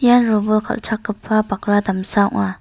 ia robol kal·chakgipa bakra damsa ong·a.